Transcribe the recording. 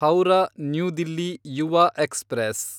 Howrah new Delhi Yuva express